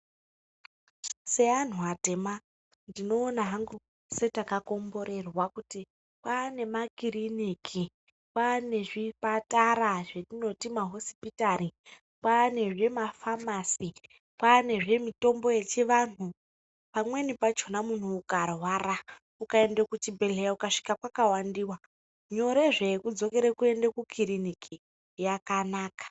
Se anhu atema ndino ona hangu se taka komborerwa kuti kwane makiriniki kwane zvipatara zve tinoti ma hosipitari pane zvima famasi kwane zvi mutombo yechi antu pamweni pachona munhu ukarwara uka ende ku chibhedhleya uka svika kwaka wandiwa nyore zve yeku dzokere kuende ku kiriniki yaka naka.